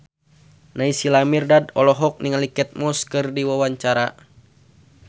Naysila Mirdad olohok ningali Kate Moss keur diwawancara